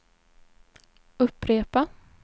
upprepa